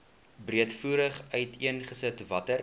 breedvoerig uiteengesit watter